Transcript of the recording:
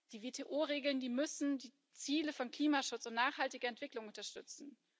Die WTO Regeln müssen die Ziele von Klimaschutz und nachhaltiger Entwicklung unterstützen.